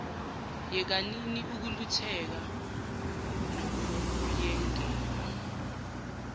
yekanini ukulutheka nokuyengeka